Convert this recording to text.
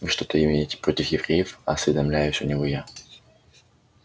вы что-то имеете против евреев осведомляюсь у него я